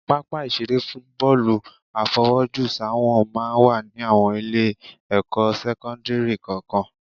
Pápá ìṣeré fún bọ́ọ̀lù àfọwọ́jùsáwọ̀n máa ń wà ní àwọn Ilé-ẹ̀kọ́ sẹ́kọ́ńdìrì kọ̀ọ̀kan